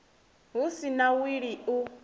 hu si na wili u